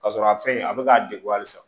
Ka sɔrɔ a fɛn in a bɛ k'a degun halisa